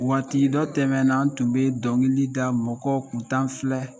Waati dɔ tɛmɛnan n tun bɛ dɔnkili da mɔgɔ kuntan filɛ